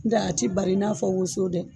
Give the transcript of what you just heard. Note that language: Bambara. Nka a ti bari i n'a fɔ woso dɛ